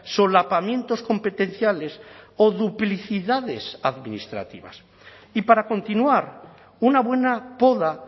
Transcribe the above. solapamientos competenciales o duplicidades administrativas y para continuar una buena poda